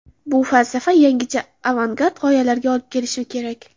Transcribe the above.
Bu falsafa yangicha avangard g‘oyalarga olib kelishi kerak.